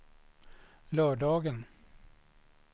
lördagen